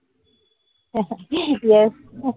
yes